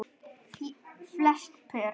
Flest pör